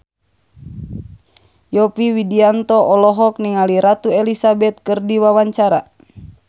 Yovie Widianto olohok ningali Ratu Elizabeth keur diwawancara